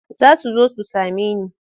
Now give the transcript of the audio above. Za su zo su same ni.